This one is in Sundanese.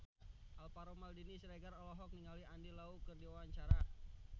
Alvaro Maldini Siregar olohok ningali Andy Lau keur diwawancara